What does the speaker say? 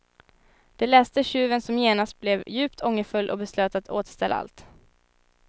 Det läste tjuven som genast blev djupt ångerfull och beslöt att återställa allt.